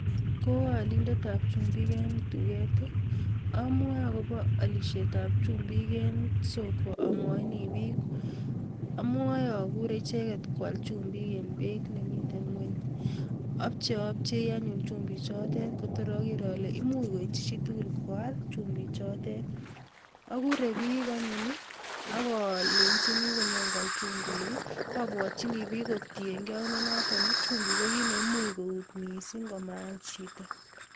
Ko alindetab chumbik eng duket, amwae akobo alishetab chumbik eng soko amwajini bik amwae akure icheket mwal chumbik eng beit ni miten kwony, Abcheabchei anyun chumbik chotet kotor ager ale imuch koityi chi tugul koal chumbik chotet. Akure bik anyum akalenjini konyon kwal chumbik amwachini bik kotiengei chumbik ko kit ne imuch kout missing ko maal chito.